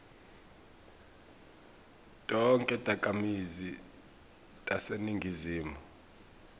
tonkhe takhamiti taseningizimu